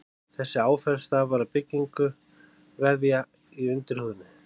Þessi áferð stafar af byggingu vefja í undirhúðinni.